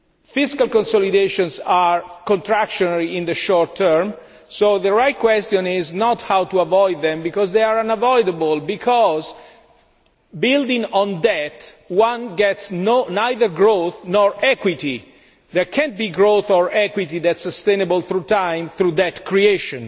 Fiscal consolidations are contractionary in the short term, so the right question is not how to avoid them they are unavoidable because building on debt brings neither growth nor equity. There cannot be growth or equity that is sustainable in the long term through debt creation,